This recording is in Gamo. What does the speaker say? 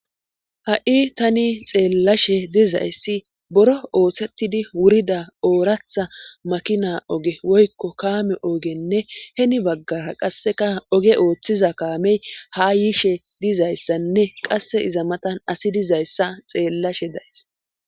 Ha7i tani xeellashe dizayssi boro ooththettidi wurida ooratha makina oge woykko kaame oogenne heni baggara qasseka oge ooththiza kaamey ha yiishe dizayssanne qasse iza matan asi dizayssa xeellashe days.